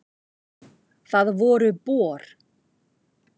Það voru Bor.